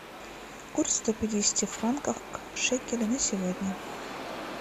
курс сто пятидесяти франков к шекелю на сегодня